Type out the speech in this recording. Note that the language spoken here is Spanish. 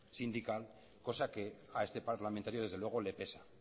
sindical cosa que a este parlamentario desde luego le pesa